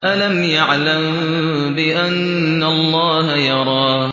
أَلَمْ يَعْلَم بِأَنَّ اللَّهَ يَرَىٰ